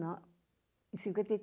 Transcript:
Não, em cinquenta e